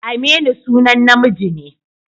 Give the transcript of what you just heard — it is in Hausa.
Aminu sunan namiji ne.